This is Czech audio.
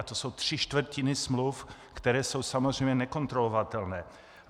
A to jsou tři čtvrtiny smluv, které jsou samozřejmě nekontrolovatelné.